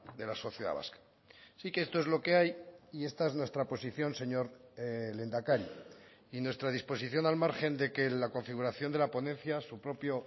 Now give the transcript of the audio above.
de la sociedad vasca sí que esto es lo que hay y esta es nuestra posición señor lehendakari y nuestra disposición al margen de que la configuración de la ponencia su propio